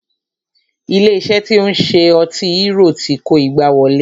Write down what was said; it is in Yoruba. Ilé iṣé tí o ń ṣe ọtí hérò ti kó igbá wọlé.